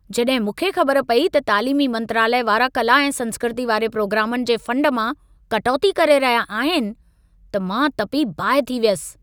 जॾहिं मूंखे ख़बर पेई त तालीमी मंत्रालय वारा कला ऐं संस्कृती वारे प्रोग्रामनि जे फंड मां कटौती करे रहिया आहिनि, त मां तपी बाहि थी वियुसि।